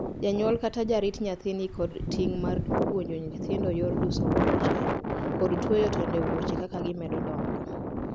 Janyuol kata jarit nyathi ni kod ting' mar puonjo nyithindo yor duso wuoche, kod tueyo tonde wuoche kaka gimedo dongo.